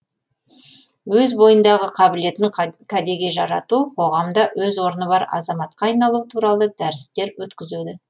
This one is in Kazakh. өз бойындағы қабілетін кәдеге жарату қоғамда өз орны бар азаматқа айналу туралы дәрістер өткізеді